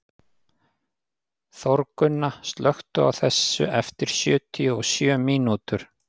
Þórgunna, slökktu á þessu eftir sjötíu og sjö mínútur.